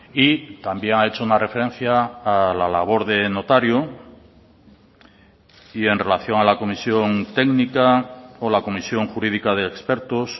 y también ha hecho una referencia a la labor de notario y en relación a la comisión técnica o la comisión jurídica de expertos